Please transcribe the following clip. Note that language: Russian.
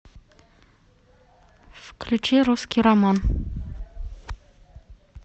включи русский роман